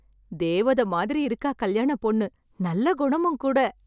தேவத மாதிரி இருக்கா கல்யாணப் பொண்ணு. நல்ல குணமும் கூட.